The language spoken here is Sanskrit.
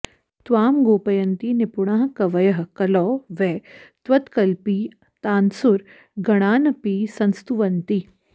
त्वां गोपयन्ति निपुणाः कवयः कलौ वै त्वत्कल्पितान्सुरगणानपि संस्तुवन्ति